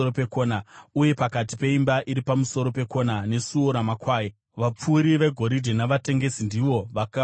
uye pakati peimba iri pamusoro pekona neSuo raMakwai, vapfuri vegoridhe navatengesi ndivo vakapagadzira.